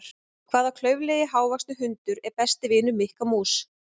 Hvaða klaufalegi hávaxni hundur er besti vinur Mikka mús?